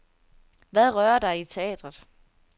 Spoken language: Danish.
Hvad rører dig i teatret?